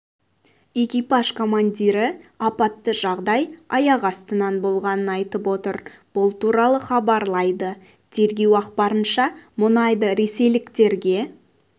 экипаж командирі апатты жағдай аяқ астынан болғанын айтып отыр бұл туралы хабарлайды тергеу ақпарынша мұнайды ресейліктерге